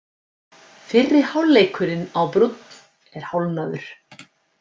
Fyrri hálfleikurinn á Brúnn er hálfnaður